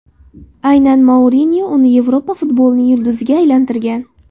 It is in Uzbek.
Aynan Mourinyo uni Yevropa futbolining yulduziga aylantirgan.